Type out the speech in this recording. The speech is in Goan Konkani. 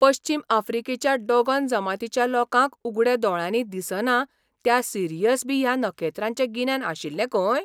पश्चीम आफ्रिकेच्या डोगोन जमातीच्या लोकांक उगड्या दोळ्यांनी दिसना त्या सिरियस बी ह्या नखेत्राचें गिन्यान आशिल्लें खंय?